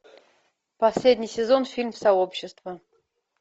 последний сезон фильм сообщество